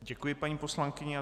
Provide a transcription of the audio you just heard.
Děkuji paní poslankyni.